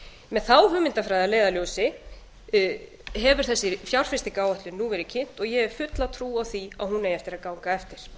með þá hugmyndafræði að leiðarljósi hefur þessi fjárfestingaráætlun nú verið kynnt og ég hef fulla trú á því að hún eigi að hún eigi eftir að ganga eftir